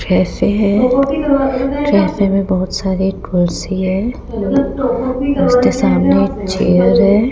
Cafe है cafe में बहुत सारी कुर्सी हैं उसके सामने चेयर है।